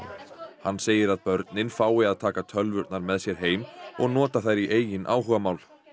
hann segir að börnin fái að taka tölvurnar með sér heim og nota þær í eigin áhugamál